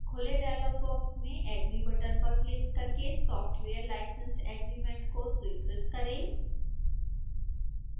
खुले dialog box में agree button पर क्लिक करके software license agreement को स्वीकृत करें